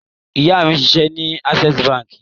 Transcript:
Ìyá mi ń ṣiṣẹ́ ní Access Báńkì.